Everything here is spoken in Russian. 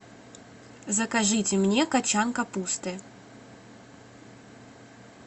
закажите мне качан капусты